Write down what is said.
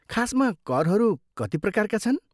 खासमा करहरू कति प्रकारका छन्?